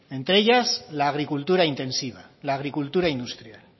entre ellas la agricultura intensiva la agricultura industrial